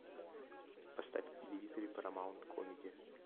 поставь на телевизоре парамаунт комеди